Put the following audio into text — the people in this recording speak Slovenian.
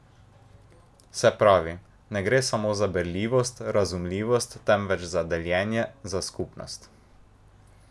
Se pravi ne gre samo za berljivost, razumljivost, temveč za deljenje, za skupnost?